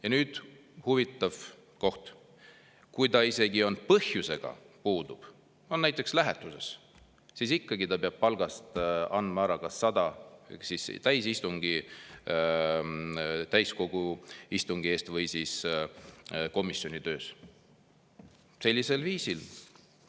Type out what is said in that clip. Ja nüüd huvitav koht: kui ta isegi põhjusega puudub, on näiteks lähetuses, siis ikkagi ta peab palgast andma ära 100 kas täiskogu istungilt eest või komisjoni töös.